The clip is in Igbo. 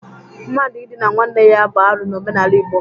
Mmadụ idina nwanne ya bụ arụ n'omenala Igbo.